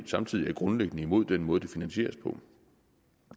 samtidig er grundlæggende er imod den måde det finansieres på